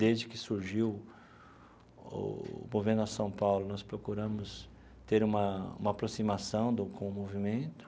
Desde que surgiu o Movimento Nossa São Paulo, nós procuramos ter uma uma aproximação do com o movimento.